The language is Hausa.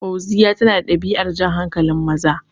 Fauziya tana da ɗabi'ar jan hankalin maza